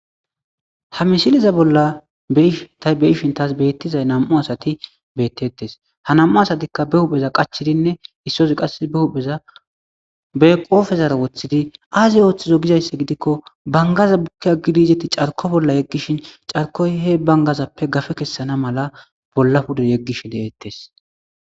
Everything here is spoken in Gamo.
Ha mishiliza bolla ta beyishin taas beettizay nam7u asati bettettes ha nam7u asatikka be hupheza qachidinne issosi qass be hupheza be qoofezara woththidi aazi ooththizo gizaysse gidikko bangaza bukki a gidizeti carko bolla yeggishin carkoy he bangazappe gafe kessana mala bolla pude yeggishi deeettes